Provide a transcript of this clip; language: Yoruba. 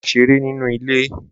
Máà ṣeré ninú ilé